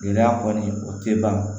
Gɛlɛya kɔni o tɛ ban o